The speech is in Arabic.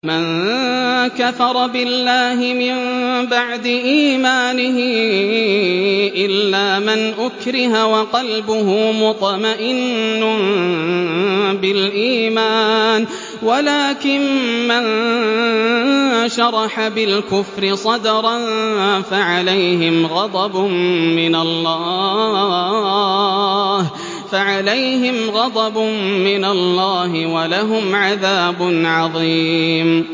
مَن كَفَرَ بِاللَّهِ مِن بَعْدِ إِيمَانِهِ إِلَّا مَنْ أُكْرِهَ وَقَلْبُهُ مُطْمَئِنٌّ بِالْإِيمَانِ وَلَٰكِن مَّن شَرَحَ بِالْكُفْرِ صَدْرًا فَعَلَيْهِمْ غَضَبٌ مِّنَ اللَّهِ وَلَهُمْ عَذَابٌ عَظِيمٌ